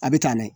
A bɛ taa n'a ye